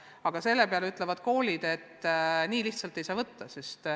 Aga selle peale ütlevad koolid, et nii lihtsalt ei saa võtta.